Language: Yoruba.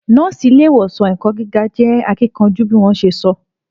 Nọ́ọ́sì ile ìwòsàn ẹ̀kọ́ gíga je akíkanjú bí wọn ṣe sọ